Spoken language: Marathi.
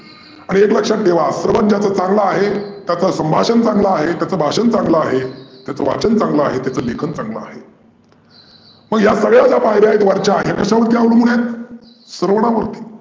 आणि एक लक्षात ठेवा स्रवन ज्याचं चांगल आहे, त्याचं संभाषन चांगलं आहे, त्याचं भाषन चांगल आहे, त्याचं वाचन चांगल आहे, त्याचं लिखान चांगल आहे. मग या सगळ्या ज्या पायर्‍या आहे वरच्या या कशावरती आवलंबून आहेत? स्रवनावरती.